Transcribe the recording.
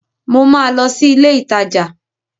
Mo ma lọ sí ilé ìtajà